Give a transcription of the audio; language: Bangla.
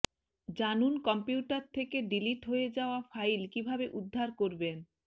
জানুন কম্পিউটার থেকে ডিলিট হয়ে যাওয়া ফাইল কীভাবে উদ্ধার করবেন